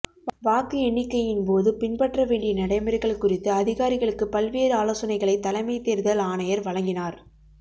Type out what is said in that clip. வாக்கு எண்ணிக்கையின்போது பின்பற்ற வேண்டிய நடைமுறைகள் குறித்து அதிகாரிகளுக்கு பல்வேறு ஆலோசனைகளை தலைமை தேர்தல் ஆணையர் வழங்கினார்